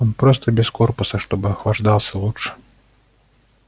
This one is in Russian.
он просто без корпуса чтобы охлаждался лучше